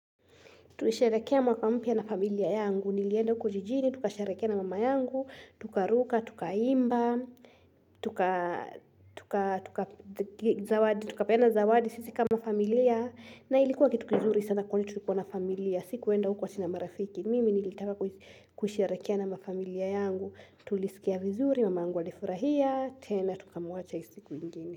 Tulisherekea mwaka mpia na familia yangu, nilienda huko jijini, tukasherekea na mama yangu, tukaruka, tukaimba, tukapeana zawadi, sisi kama familia, na ilikuwa kitu kizuri sana kwenye tulikua na familia, sikuenda kwa sina marafiki, mimi nilitaka kusherekea na familia yangu, tulisikia vizuri, mama angu alifurahia, tena tukamuacha hii siku ingine.